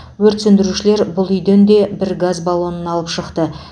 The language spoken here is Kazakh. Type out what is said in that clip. өрт сөндірушілер бұл үйден де бір газ баллонын алып шықты